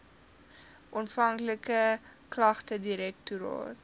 onafhanklike klagtedirektoraat